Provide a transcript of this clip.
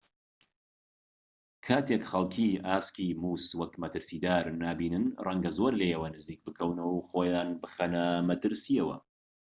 کاتێک خەڵکی ئاسکی مووس وەک مەترسیدار نابینن ڕەنگە زۆر لێیەوە نزیک بکەونەوە و خۆیان بخەنە مەترسیەوە